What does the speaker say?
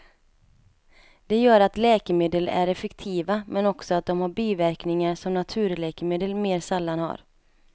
Det gör att läkemedel är effektiva, men också att de har biverkningar som naturläkemedel mer sällan har.